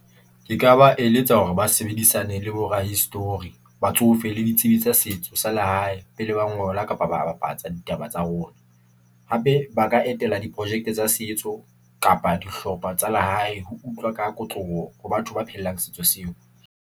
Ke ka ba eletsa hore ba sebedisane le bo rahistori, batsofe le ditsebi tsa setso sa lehae pele ba ngola kapa ba bapatsa ditaba tsa rona. Hape ba ka etela diprojeke tsa setso kapa dihlopha tsa lehae ho utlwa ka kotloloho ho batho ba phelang setso seo.